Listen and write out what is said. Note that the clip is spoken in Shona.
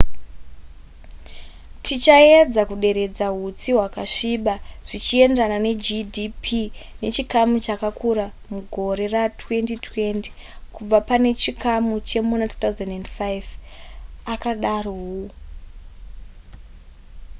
tichaedza kuderedza hutsi hwakasviba zvichienderana negdp nechikamu chakakura mugore ra2020 kubva pane chikamu chemuna 2005 akadaro hu